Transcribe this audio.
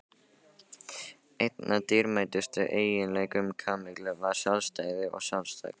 Einn af dýrmætustu eiginleikum Kamillu var sjálfstæði og sjálfsagi.